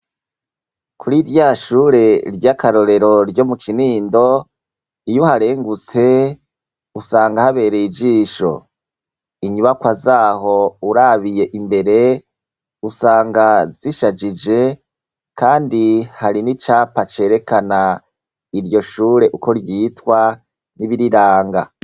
Kuri irya shure ry'akarorero ryo mu Kinindo, iyo uharengutse usanga habereye ijisho. Inyubakwa zaho urabiye imbere, usanga zishajije kandi hari n'icapa cerekana iryo shure uko ryitwa n'ibiriranga.